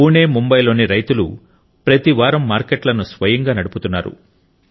పూణే ముంబైలోని రైతుల ప్రతి వారం మార్కెట్లను స్వయంగా నడుపుతున్నారు